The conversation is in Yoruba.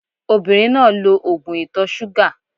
Obìnrin náà lo ògùn ìtọ̀-súgà